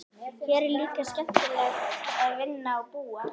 Hér er líka skemmtilegt að vinna og búa.